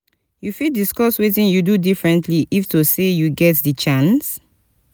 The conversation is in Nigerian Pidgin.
you fit discuss wetin you for do differentiy if to say you get di chance?